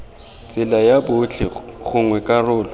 tsela ya botlhe gongwe karolo